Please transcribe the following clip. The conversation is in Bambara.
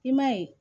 I ma ye